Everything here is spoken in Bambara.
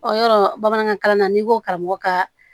Ɔ yɔrɔ bamanankan kalan na n'i ko karamɔgɔ ka